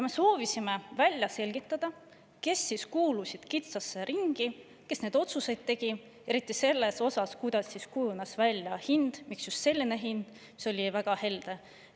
Me soovisime välja selgitada, kes siis kuulusid kitsasse ringi, kes neid otsuseid tegi, eriti selle kohta, kuidas kujunes välja hind, miks just selline hind, mis oli väga helde.